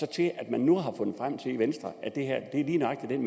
til at man nu har fundet frem til i venstre at det her er lige nøjagtig den